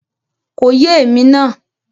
Kò yé èmi náà